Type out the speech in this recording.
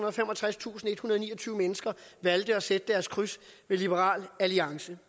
og femogtredstusindethundrede og niogtyve mennesker valgte at sætte deres kryds ved liberal alliance